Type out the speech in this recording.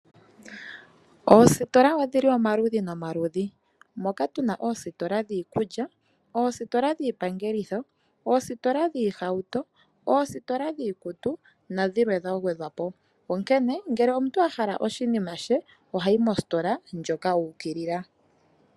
Oositola odhili omaludhi nomaludhi moka tuna oositola dhiikulya, oositola dhiipangelitho, oositola dhiihauto ,oositola dhiikutu nadhilwe dha gwedhwapo .Onkene ngele omuntu ahala oshinima she ohayi moositola ndjoka uukilila.